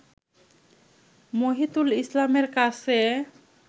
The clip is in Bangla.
মহিতুল ইসলামের কাছে